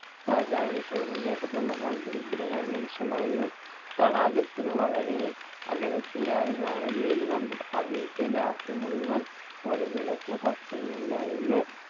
രാജാവിൻറെ ചോദ്യം കേട്ടതും അയാൾ ദരിദ്രനായ മനുഷ്യൻ പറഞ്ഞു തടാകത്തിന് വളരെ അകലെത്തെയായി ഞാൻ ഒരു വീട് കണ്ടു ആ വീട്ടിൽ രാത്രി മുഴുവൻ ഒരു വിളക്ക് കത്തുന്നുണ്ടായിരുന്നു